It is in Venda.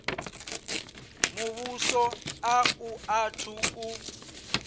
muvhuso a u athu u